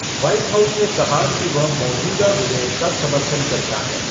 White House ने कहा कि वह मौजूदा विधेयक का समर्थन करता है।